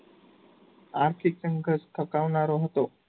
આર્થિક સંઘર્ષ થકાવનારો હતો.